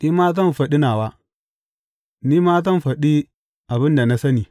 Ni ma zan faɗi nawa; ni ma zan faɗi abin da na sani.